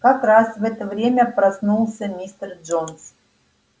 как раз в это время проснулся мистер джонс